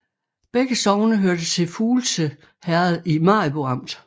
Begge sogne hørte til Fuglse Herred i Maribo Amt